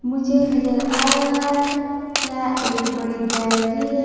मुझे नजर आ रहा है। यहां एक बड़ी गैलरी है।